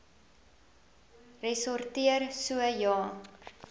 ressorteer so ja